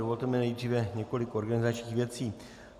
Dovolte mi nejdříve několik organizačních věcí.